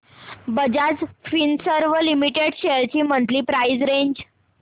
Bajaj Finserv limited shares ची monthly price range